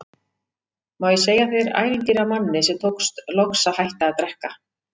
Má ég segja þér ævintýri af manni sem tókst loks að hætta að drekka?